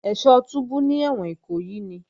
Ẹ́ṣọ́ túbú ní ẹ̀wọ̀n Ìkòyí ni